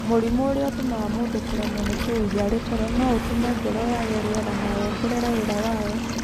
Mũrimũ ũrĩa ũtũmaga mũndũ kũremwo nĩ kũhuhia arĩ toro no ũtũme ngoro yaage rĩera na wongerere wĩra wayo.